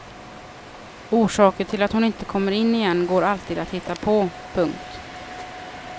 Orsaker till att hon inte kommer in igen går alltid att hitta på. punkt